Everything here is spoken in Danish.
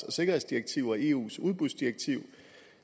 og sikkerhedsdirektiv og eus udbudsdirektiv